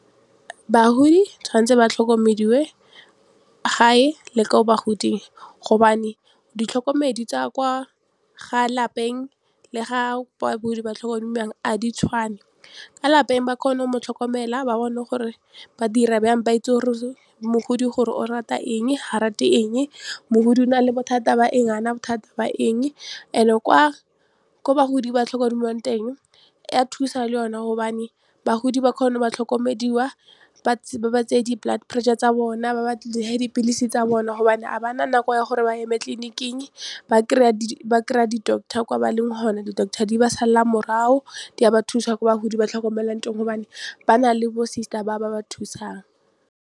Bagodi tshwan'tse ba tlhokomediwe hae le ko bagoding gobane ditlhokomedi tsa kwa lapeng le ga bagodi ba tlhokomediwang a di tshwane, ka lapeng ba kgona go mo tlhokomela ba bone gore ba dira bjang ba itse gore mogodi gore o rata eng ha rate eng, mogodi o na le bothata ba eng ga ana bothata ba eng and-e ko bagodi ba tlhokomediwang teng ya thusa le yone gobane bagodi ba kgone ba tlhokomediwa ba tseye di-blood pressure tsa bona dipilisi tsa bona gobane ga ba na nako ya gore ba eme tleliniking ba kry-a di-doctor kwa ba leng hona di-doctor di ba sala morago di a ba thusa kwa bagodi ba tlhokomelwang teng gobane ba na le bo sister ba ba thusang.